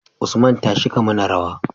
Usman tashi ka mana rawa